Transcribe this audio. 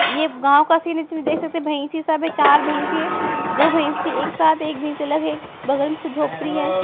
ये गांव का सीन है इसमें देख सकते है भयूसी सब हैं चार भयूसी है दो भयूसी एक साथ एक भीड़ से अलग है बगल में झोपडी हैं।